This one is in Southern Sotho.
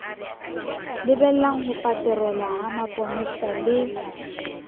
lebelang hopaterola ha maponesa le